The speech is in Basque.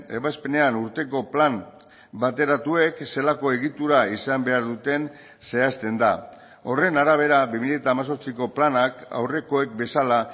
ebazpenean urteko plan bateratuek zelako egitura izan behar duten zehazten da horren arabera bi mila hemezortziko planak aurrekoek bezala